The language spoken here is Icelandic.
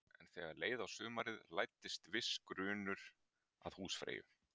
En þegar leið á sumarið læddist viss grunur að húsfreyju.